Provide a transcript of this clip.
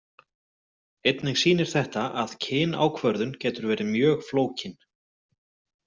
Einnig sýnir þetta að kynákvörðun getur verið mjög flókin.